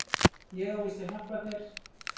Ég á víst að hjálpa þér.